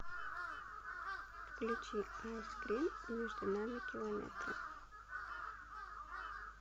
включи айскрин между нами километры